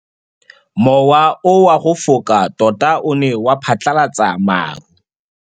Mowa o wa go foka tota o ne wa phatlalatsa maru.